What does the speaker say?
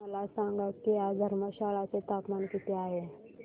मला सांगा की आज धर्मशाला चे तापमान किती आहे